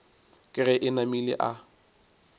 ke ge e namile a